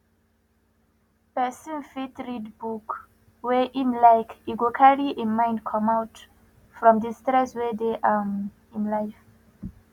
person fit read book wey im like e go carry im mind comot from di stress wey dey um im life